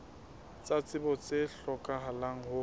tsa tsebo tse hlokahalang ho